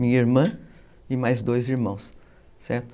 Minha irmã e mais dois irmãos, certo?